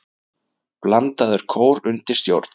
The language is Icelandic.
Blandaður kór undir stjórn